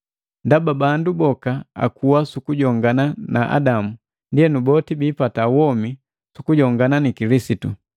Ndaba bandu boka akuwa sukujongana na Adamu, ndienu boti bipata womi sukujongana na Kilisitu.